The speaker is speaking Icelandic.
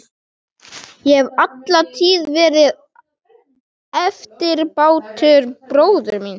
Ég hef alla tíð verið eftirbátur bróður míns.